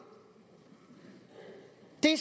det